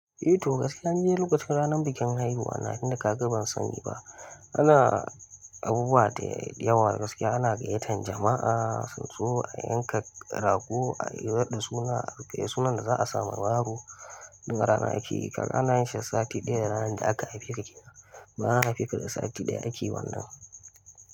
Eh to gaskiya nidai lokacin ranar bikin haihuwa na tunda kaga ban sani ba. Ana abubuwa da yawa gaskiya ana gayyatan jama'a, soso a yanka rago, a raɗin suna, a kai sunan da za a sa wa yaro daga rana ake yi. Kaga ana yin shi sati ɗaya da ranar da aka haife ka kenan. Kamar an haife ka da sati ɗaya ake wannan.